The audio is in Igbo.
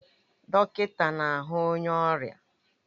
Dọkịta na-ahu onye ọrịa